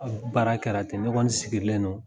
baara kɛra ten, ne kɔɔni sigilen don